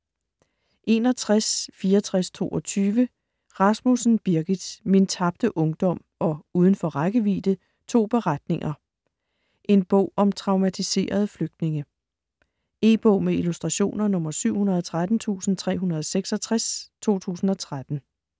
61.6422 Rasmussen, Birgit: "Min tabte barndom" og "Udenfor rækkevidde": to beretninger. En bog om traumatiserede flygtninge. E-bog med illustrationer 713366 2013.